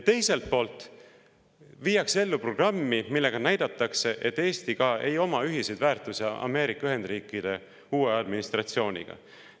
Teiselt poolt viiakse ellu programmi, millega näidatakse, et Eesti ei oma ühiseid väärtusi ka Ameerika Ühendriikide uue administratsiooniga.